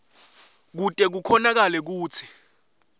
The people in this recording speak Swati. kute kukhonakale kutsi